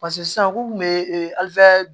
sisan u kun be